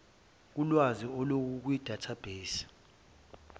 kulwazi olukukwi database